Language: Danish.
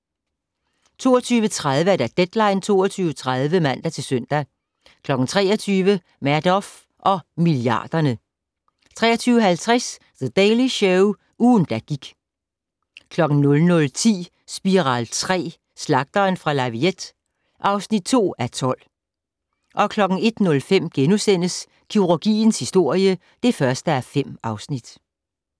22:30: Deadline 22.30 (man-søn) 23:00: Madoff og milliarderne 23:50: The Daily Show - ugen, der gik 00:10: Spiral III: Slagteren fra La Villette (2:12) 01:05: Kirurgiens historie (1:5)*